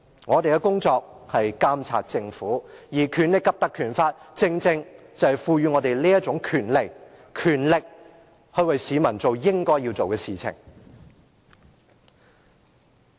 我們的工作是監察政府，而《立法會條例》正賦予我們這種權力，為市民做我們應做之事。